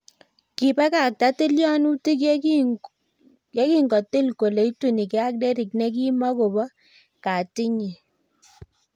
kipakakta tiyonutik yetingoti kole itunkei ak derik nekimo kobo katity nyi